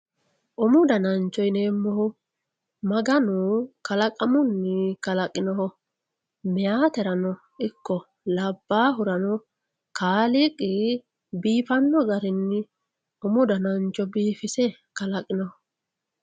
umu danancho yineemmohu maganu kalaqamunni kalaqinoho meyaaterano ikko labbaahurano kaaliiqi biifanno garinni umu danancho biifise kalaqinoho.